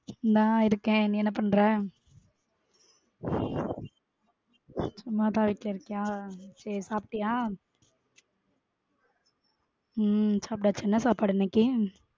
இந்த இருக்கேன் நீ என்ன பண்ற? சும்மா தான் வீட்ல இருக்கியா சேரி சாப்டியா? உம் சாப்டாச்சு என்ன சாப்பாடு இன்னைக்கி?